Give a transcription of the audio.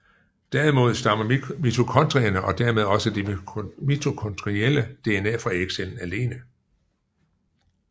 Derimod stammer mitokondrierne og dermed også det mitokondrielle DNA fra ægcellen alene